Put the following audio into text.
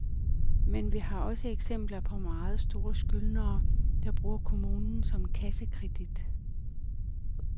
Men vi har også eksempler på meget store skyldnere, der bruger kommunen som kassekredit.